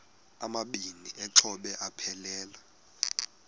amabini exhobe aphelela